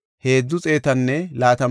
Mikmaasan de7iya asay 122;